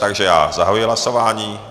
Takže já zahajuji hlasování.